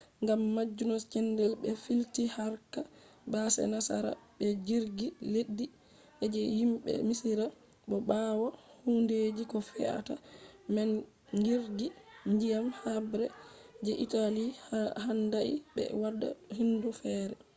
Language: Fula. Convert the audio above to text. gam majum sende be filti harka base nasara be jirgi leddi je himbe misira. bo bawo hundeji ko feata man jirgi ndiyam habre je italy handai be wada hunde fere